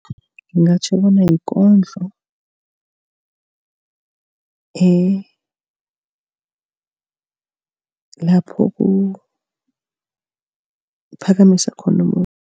Ngingatjho bona yikondlo elapho kuphakamiswa khona